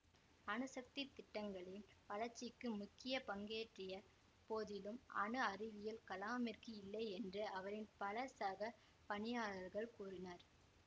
அணுசக்தி திட்டங்களின் வளர்ச்சிக்கு முக்கிய பங்கேற்றிய போதிலும் அணு அறிவியலில் கலாமிற்கு இல்லை என்று அவரின் பல சக பணியாளர்கள் கூறினர்